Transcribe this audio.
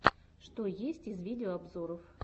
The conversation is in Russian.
что есть из видеообзоров